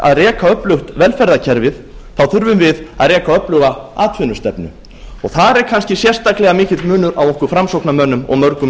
að reka öflugt velferðarkerfi þurfum við þó að reka öfluga atvinnustefnu og þar er kannski sérstaklega mikill munur á okkur framsóknarmönnum og mörgum í